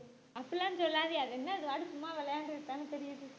அப்படி எல்லாம் சொல்லாதீங்க அது என்னத சும்மா விளையாண்டுட்டு தானே திரியுது